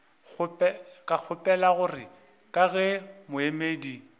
kgopela gore ka ge moemedi